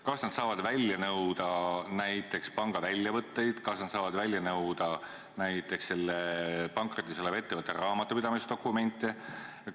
Kas nad saavad välja nõuda näiteks panga väljavõtteid, kas nad saavad välja nõuda näiteks selle pankrotis oleva ettevõtte raamatupidamisdokumente?